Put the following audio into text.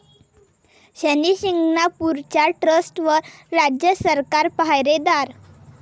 शनी शिंगणापूरच्या ट्रस्टवर राज्य सरकार पाहारे'दार'